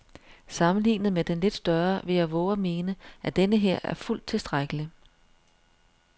Sammenlignet med den lidt større vil jeg vove at mene, at denneher er fuldt tilstrækkelig.